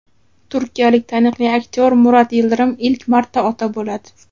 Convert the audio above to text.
Turkiyalik taniqli aktyor Murat Yildirim ilk marta ota bo‘ladi.